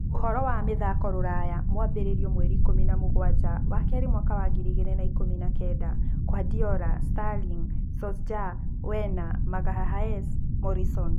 Ũhoro wa mĩthako rũraya mwambĩrĩrio mweri ikũmi na mũgwanja wakerĩ mwaka wa ngiri igĩrĩ na ikũmi na kenda: kuardiola, Sterling, Solskjaer, Werner, Magalhaes, Morrison